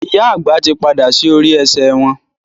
ìyá àgbà tí pàdà sí orí esè wón.